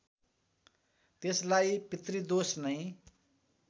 त्यसलाई पितृदोष नै